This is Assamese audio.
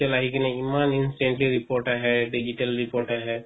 আহি কিনে ইমান instantly report আহে digital report আহে